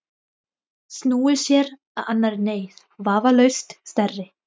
Snúið sér að annarri neyð, vafalaust stærri.